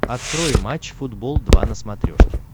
открой матч футбол два на смотрешке